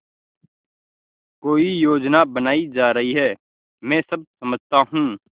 कोई योजना बनाई जा रही है मैं सब समझता हूँ